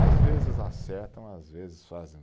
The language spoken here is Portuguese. Às vezes acertam, às vezes fazem